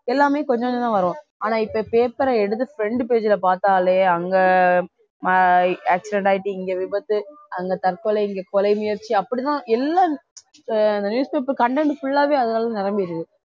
எல்லாமே கொஞ்சம் கொஞ்சம்தான் வரும் ஆனா இப்ப பேப்பரை எடுத்து front page ல பார்த்தாலே அங்கே ஆஹ் accident ஆயிட்டு இங்கே விபத்து அங்கே தற்கொலை இங்கே கொலை முயற்சி அப்படித்தான் எல்லாம் அந்த அந்த newspaper content full ஆவே அதனாலநிரம்பியிருக்கு